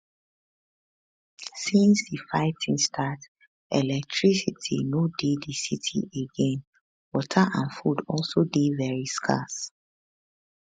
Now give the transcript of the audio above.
since di fighting start electricity no dey di city again water and food also dey very scarce